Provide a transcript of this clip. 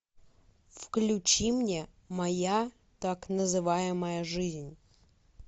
включи мне моя так называемая жизнь